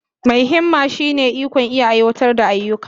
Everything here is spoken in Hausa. Mai himma shine ikon iya aiwatar da ayyuka.